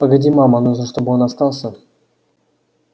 погоди мама нужно чтобы он остался